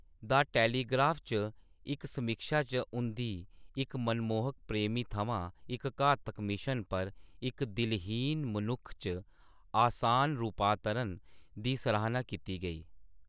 The Telegraph च इक समीक्षा च उं`दी "इक मनमोहक प्रेमी थमां इक घातक मिशन पर इक दिलहीन मनुक्ख च आसान रूपांतरण" दी सराह्‌ना कीती गेई।